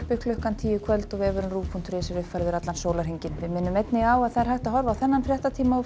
klukkan tíu í kvöld og vefurinn rúv punktur is er uppfærður allan sólarhringinn við minnum einnig á að það er hægt að horfa á þennan fréttatíma